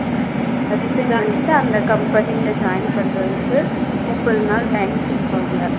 resign பண்ணிட்டு அந்த company ல join பண்ணுறதுக்கு முப்பது நாள் time குடுப்பாங்க